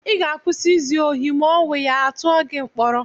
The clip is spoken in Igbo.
Ị ga-akwụsị izu ohi ma owuya, à tụọ gị mkpọrọ!